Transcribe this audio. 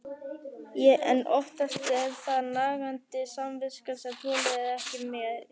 En oftast er það nagandi samviskan sem þolir ekki meir.